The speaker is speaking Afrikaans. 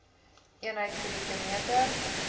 eenheid kubieke meter